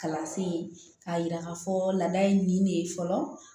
Kalansen k'a yira ka fɔ laada ye nin de ye fɔlɔ